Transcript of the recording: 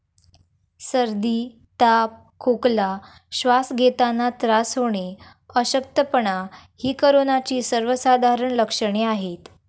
सर्दी, ताप, खोकला, श्वास घेतांना त्रास होणे, अशक्तपणा ही कोरोनाची सर्वसाधारण लक्षणे आहेत.